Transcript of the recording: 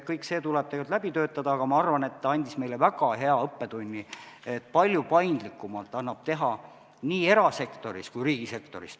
Kõik see tuleb läbi töötada, aga ma arvan, et see andis meile väga hea õppetunni, et palju paindlikumalt annab teha tööd nii erasektoris kui ka riigisektoris.